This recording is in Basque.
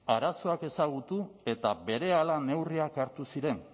arazoak ezagutu eta berehala neurriak hartu ziren